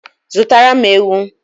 Zụtara m ewu